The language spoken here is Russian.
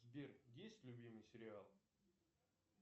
сбер есть любимый сериал